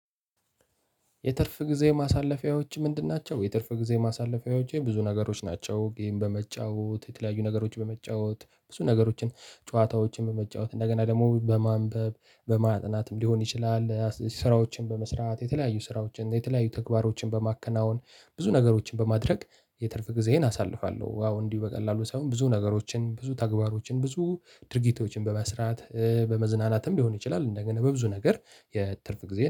የትርፍ ጊዜ ማሳለፊያዎች ምንድን ናቸው? የትርፍ ጊዜ ማሳለፊያዎች ብዙ ነገሮች ናቸው። ጌም በመጫወት፣ የተለያዩ ነገሮች በመጫወት ብዙ ነገሮችን ጨዋታዎችን በመጫወት እንደገና ደግሞ በማንበብ በማጥናትም ሊሆን ይችላል ስራዎችን በመስራት የተለያዩ ስራዎችን የተለያዩ ተግባሮችን በማከናወን። ብዙ ነገሮችን በማድረግ የትርፍ ጊዜዬን አሳልፋለሁ። ዋው እንዲሁ በቀላሉ ሳይሆን ብዙ ነገሮችን ብዙ ተግባሮችን ብዙ ድርጊቶችን በመስራት በመዝናናትም ሊሆን ይችላል እንደገና በብዙ ነገር የትርፍ ጊዜዬን